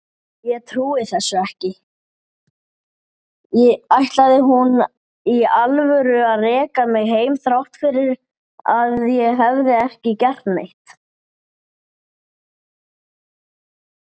Flórída var annar heimur.